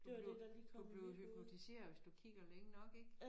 Du bliver du bliver hypnotiseret hvis du kigger længe nok ik